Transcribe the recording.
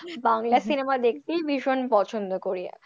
Bangla cinema দেখতে ভীষণ পছন্দ করি,